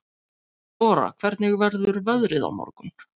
Ora, hvernig verður veðrið á morgun?